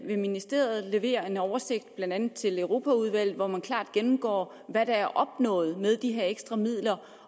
vil ministeriet levere en oversigt blandt andet til europaudvalget hvori man klart gennemgår hvad der er opnået med de her ekstra midler